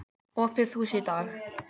Opið hús í dag.